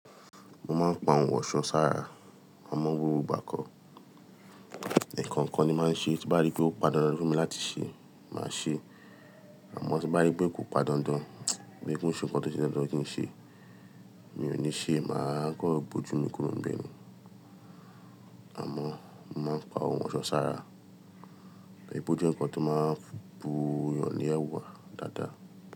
Mo máa ń pa ohun ọ̀ṣọ́ sára, àmọ́ gbogbo ìgbà kọ, ẹkan kan ni máa ń ṣe, tí bá rí pé ó pa dàndán fún mi láti ṣe, màá ṣe, àmọ́ tí bá rí pé kò pàdáǹdán, bí i pé ń ṣe nǹkan tó ṣe é ṣe dandan kí n ṣe, mi ò ní ṣe, màá kọ gbòjú mi kúrò níbẹ̀ ni. Àmọ́ mo máa ń pa ohun ọ̀ṣọ́ sára, ìbò jẹ nǹkan tó máa ń bo èèyàn ní ẹ́wà dáadáa.